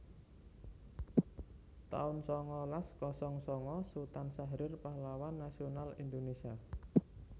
taun sangalas kosong sanga Sutan Syahrir pahlawan nasional Indonésia